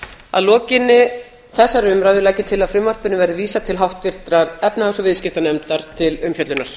að lokinni þessari umræðu legg ég til að frumvarpinu verði vísað til háttvirtrar efnahags og viðskiptanefndar til umfjöllunar